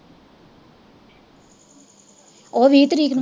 ਉਹ ਵੀਹ ਤਰੀਕ ਨੂੰ।